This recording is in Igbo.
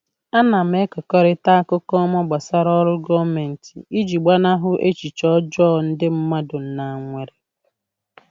Ana m ekekọrịta akụkọ ọma gbasara oru gọọmentị iji gbanahụ echiche ọjọọ ndị mmadụ na nwere.